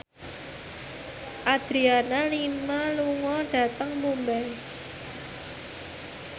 Adriana Lima lunga dhateng Mumbai